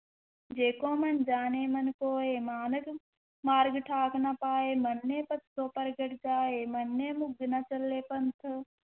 ਜੇ ਕੋ ਮੰਨਿ ਜਾਣੈ ਮਨਿ ਕੋਇ, ਮਾਰਗਿ, ਮਾਰਗਿ ਠਾਕ ਨਾ ਪਾਇ, ਮੰਨੈ ਪਤਿ ਸਿਉ ਪਰਗਟੁ ਜਾਇ, ਮੰਨੈ ਮਗੁ ਨ ਚਲੈ ਪੰਥੁ,